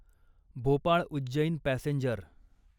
Bhopal Ujjain passenger